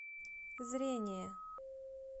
зрение